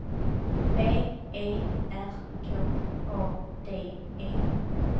V E R K A D E